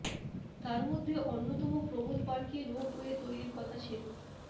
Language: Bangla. তার মধ্যে অন্যতম প্রমোদ পার্কে রোপওয়ে তৈরির কথা ছিল